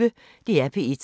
DR P1